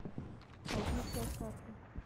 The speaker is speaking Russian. альпийская сказка